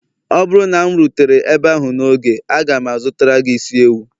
ọ bụrụ na m rutere ebe ahụ n'oge, aga m azụtara gị isi ewu